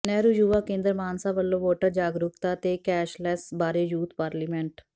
ਨਹਿਰੂ ਯੁਵਾ ਕੇਂਦਰ ਮਾਨਸਾ ਵੱਲੋਂ ਵੋਟਰ ਜਾਗਰੂਕਤਾ ਤੇ ਕੈਸ਼ਲੈੱਸ ਬਾਰੇ ਯੂਥ ਪਾਰਲੀਮੈਂਟ